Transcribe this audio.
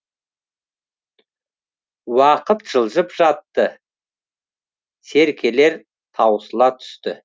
уақыт жылжып жатты серкелер таусыла түсті